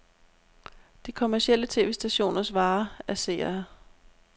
De kommercielle tv-stationers vare er seere.